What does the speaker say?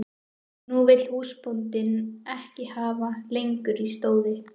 Nú vill húsbóndinn ekki hafa hann lengur í stóði.